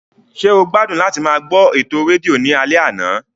Ṣé o gbádùn láti máa gbọ́ ètò rédíò ní alẹ́ àná?